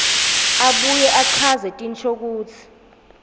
abuye achaze tinshokutsi